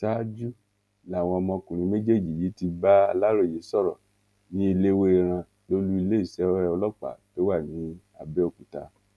ṣáájú làwọn ọmọkùnrin méjèèjì yìí ti bá aláròye sọrọ ní ẹlẹwẹẹran lólu iléeṣẹ ọlọpàá tó wà ní àbẹòkúta